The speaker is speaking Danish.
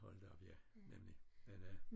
Hold da op ja nemlig men øh